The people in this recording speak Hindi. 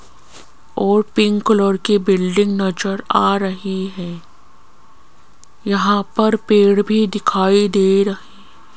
और पिंक कलर कि बिल्डिंग नजर आ रही हैं यहां पर पेड़ भी दिखाई दे रहे --